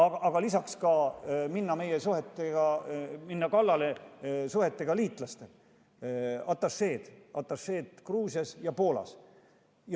Lisaks minnakse kallale meie suhetele liitlastega, atašeedest Gruusias ja Poolas.